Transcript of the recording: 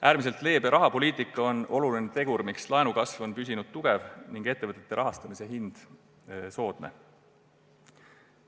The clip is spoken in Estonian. Äärmiselt leebe rahapoliitika on oluline tegur, miks laenukasv on püsinud tugev ning ettevõtete rahastamise hind soodne.